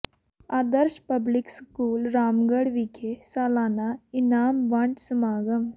ਆਦਰਸ਼ public school Ramgarh ਵਿਖੇ ਸਾਲਾਨਾ ਇਨਾਮ ਵੰਡ ਸਮਾਗਮ